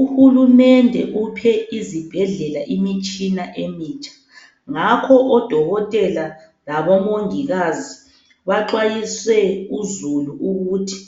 Uhulumende uphe izibhedlela imitshina emitsha, ngakho odokotela labomongikazi baxwayise uzulu ukuthi